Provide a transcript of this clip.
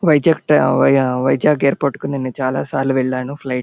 వైజగ్ గ వైజాగ్ ఎయిర్పోర్ట్ కి నేను చాల సార్లు వెళ్ళాను ఫ్లయిట్ లో --